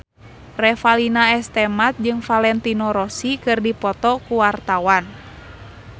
Revalina S. Temat jeung Valentino Rossi keur dipoto ku wartawan